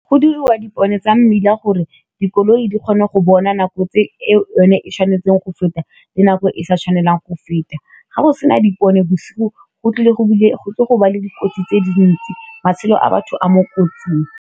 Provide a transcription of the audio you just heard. Go diriwa dipone tsa mmila gore dikoloi di kgone go bona nako tse e yone e tshwanetseng go feta le nako e sa tshwanelang go feta, ga go sena dipone bosigo go tlile gonna le dikotsi tse dintsi matshelo a batho a mo kotsing.